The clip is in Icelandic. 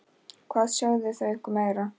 Hvað sögðu þau ykkur meira?